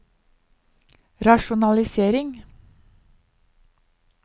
rasjonalisering